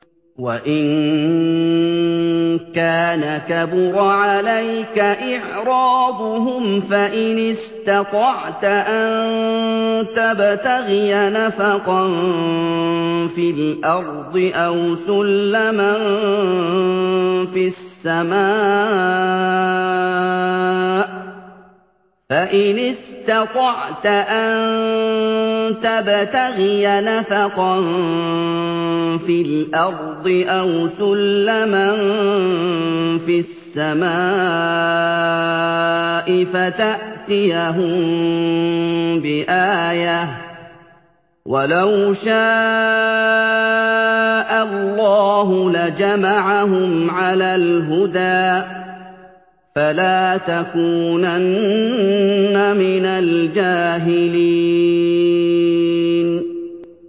وَإِن كَانَ كَبُرَ عَلَيْكَ إِعْرَاضُهُمْ فَإِنِ اسْتَطَعْتَ أَن تَبْتَغِيَ نَفَقًا فِي الْأَرْضِ أَوْ سُلَّمًا فِي السَّمَاءِ فَتَأْتِيَهُم بِآيَةٍ ۚ وَلَوْ شَاءَ اللَّهُ لَجَمَعَهُمْ عَلَى الْهُدَىٰ ۚ فَلَا تَكُونَنَّ مِنَ الْجَاهِلِينَ